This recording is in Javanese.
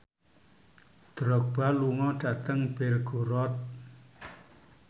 Drogba lunga dhateng Belgorod